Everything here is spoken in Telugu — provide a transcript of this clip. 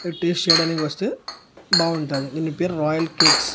మీరు టేస్ట్ చేయడానికి వస్తే బాగుంటది దీని పేరు రాయల్ కేక్స్ .